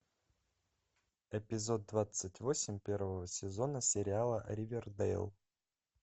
эпизод двадцать восемь первого сезона сериала ривердэйл